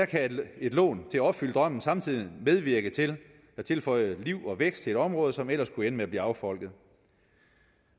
kan et lån til at opfylde drømmen samtidig medvirke til at tilføre liv og vækst til et område som ellers kunne ende med at blive affolket